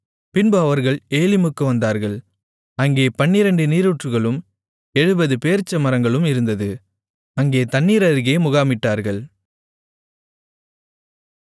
பின்பு அவர்கள் ஏலிமுக்கு வந்தார்கள் அங்கே பன்னிரண்டு நீரூற்றுகளும் எழுபது பேரீச்சமரங்களும் இருந்தது அங்கே தண்ணீர் அருகே முகாமிட்டார்கள்